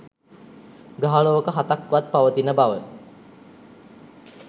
ග්‍රහලෝක හතක් වත් පවතින බව